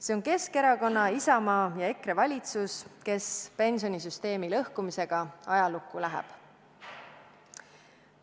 See on Keskerakonna, Isamaa ja EKRE valitsus, kes pensionisüsteemi lõhkumisega ajalukku läheb.